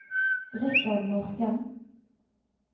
Richard Morken